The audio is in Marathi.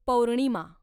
पौर्णिमा